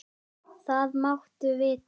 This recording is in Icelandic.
Það máttu vita.